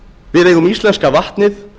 við eigum íslenska vatnið